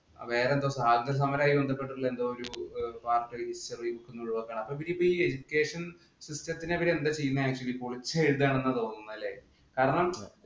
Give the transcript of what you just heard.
വേറെ എന്തോ സ്വാതന്ത്ര്യ സമരവുമായി ബന്ധപ്പെട്ട ഭാഗം history യില്‍ നിന്നും ഒഴിവാക്കുകയാണ്. Education system ത്തിനെ ഇവർ എന്താ ചെയ്യുന്നേ പൊളിച്ചെഴുതുകയാണ് എന്ന് തോന്നുന്നേ കാരണം